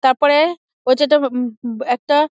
তারপরে ওটা তো উমঃ উমঃ একটা--